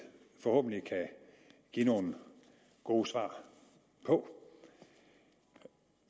forhåbentlig kan give nogle gode svar på